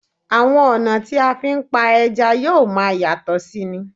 Àwọn ọ̀nà tí a fi ń pa ẹja yóò máa yàtọ̀ sí i ni